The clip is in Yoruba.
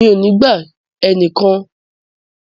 Mi ò ní gba ẹnikẹ́ni ní ìmọ̀ràn láti darapọ̀ mọ́ àwọn ogboni.